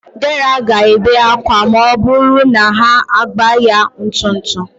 Dera ga-ebe akwa ma ọ bụrụ na ha agba ya ntụtụ.